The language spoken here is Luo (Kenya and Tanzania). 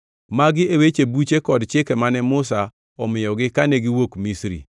Magi e weche, buche kod chike mane Musa omiyogi kane giwuok Misri,